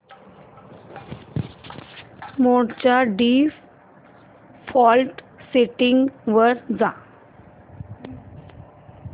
मोड च्या default settings वर जा